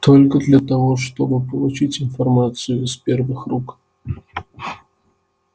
только для того чтобы получить информацию из первых рук